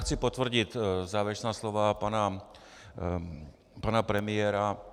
Chci potvrdit závěrečná slova pana premiéra.